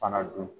Fana dun